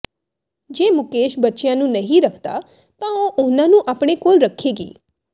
ਜੇ ਮੁਕੇਸ਼ ਬੱਚਿਆਂ ਨੂੰ ਨਹੀਂ ਰੱਖਦਾ ਤਾਂ ਉਹ ਉਨ੍ਹਾਂ ਨੂੰ ਆਪਣੇ ਕੋਲ ਰੱਖੇਗੀ